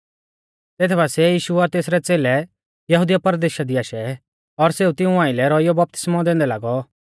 तेथ बासिऐ यीशु और तेसरै च़ेलै यहुदिया परदेशा दी आशै और सेऊ तिऊं आइलै रौइयौ बपतिस्मौ दैंदै लागौ